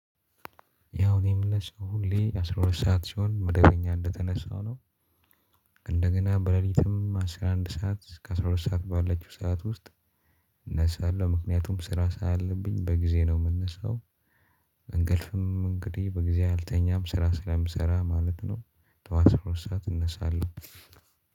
ያው እኔ ምነሳው ሁሌ አስራ ሁለት ሰዓት ሲሆን መደበኛ እንደተነሳው ነው። እንደገና በሌሊትም አስራ አንድ ሰዓት እስከ አስራ ሁለት ሰዓት ባለችው ሰዓት ውስጥ እነሳለሁ ምክንያቱም ስራ ስላለብኝ በጊዜ ነው የምነሳው። እንቅልፍም እንግዲህ በጊዜ አልተኛም ስራ ስለምሰራ ማለት ነው። ጠዋት አስራ ሁለት ሰዓት እነሳለሁ።